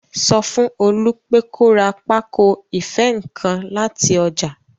Sọ fún Olú pé kó ra pákó ìfé nǹkan láti ọjà